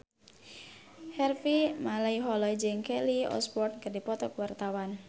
Harvey Malaiholo jeung Kelly Osbourne keur dipoto ku wartawan